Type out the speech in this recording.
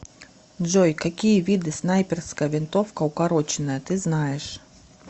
джой какие виды снайперская винтовка укороченная ты знаешь